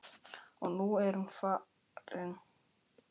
Og nú er hún farin.